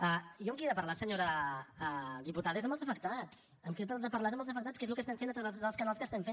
jo amb qui he de parlar senyora diputada és amb els afectats amb qui he de parlar és amb els afectats que és el que estem fent a través dels canals que estem fent